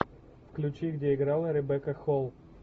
включи где играла ребекка холл